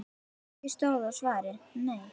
Ekki stóð á svari: Nei!